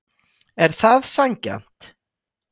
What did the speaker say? Er það sanngjarnt?